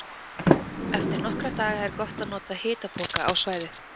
Eftir nokkra daga er gott að nota hitapoka á svæðið.